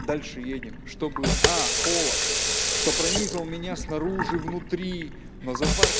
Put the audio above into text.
дальше едем что было а холод что пронизывал меня снаружи внутри но завар